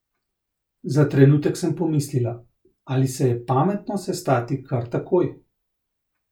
Za trenutek sem pomislila, ali se je pametno sestati kar takoj.